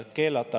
…